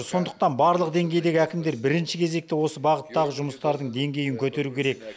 сондықтан барлық деңгейдегі әкімдер бірінші кезекте осы бағыттағы жұмыстардың деңгейін көтеру керек